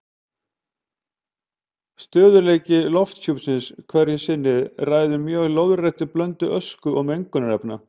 Stöðugleiki lofthjúpsins hverju sinni ræður mjög lóðréttri blöndun ösku og mengunarefna.